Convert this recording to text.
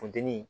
Funteni